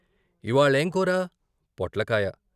" ఇవ్వాళేం కూర "" పొట్ల కాయ.